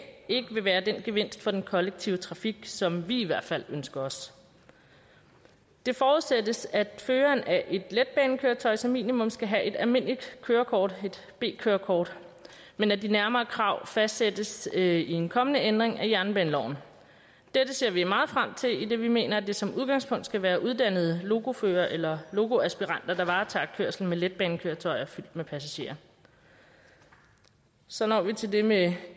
ikke være den gevinst for den kollektive trafik som vi i hvert fald ønsker os det forudsættes at føreren af et letbanekøretøj som minimum skal have et almindeligt kørekort et b kørekort men at de nærmere krav fastsættes i en kommende ændring af jernbaneloven dette ser vi meget frem til idet vi mener at det som udgangspunkt skal være uddannede lokoførere eller lokoaspiranter der varetager kørslen med letbanekøretøjer fyldt med passagerer så når vi til det med